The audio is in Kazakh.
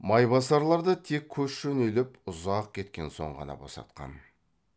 майбасарларды тек көш жөнеліп ұзап кеткен соң ғана босатқан